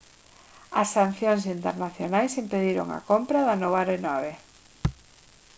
as sancións internacionais impediron a compra da nova aeronave